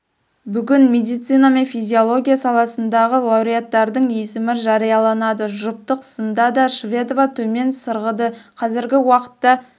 бүгін медицина мен физиология саласындағы лауреаттардың есімі жарияланады жұптық сында да шведова төмен сырғыды қазіргі уақытта